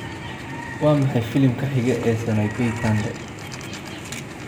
waa maxay filimka xiga ee sanaipei tande